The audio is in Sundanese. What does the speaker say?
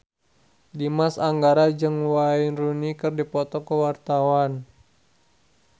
Dimas Anggara jeung Wayne Rooney keur dipoto ku wartawan